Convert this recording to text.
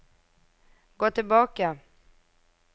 gå tilbake